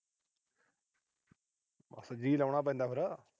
ਜੀਅ ਲਾਉਣਾ ਪੈਂਦਾ ਫਿਰ।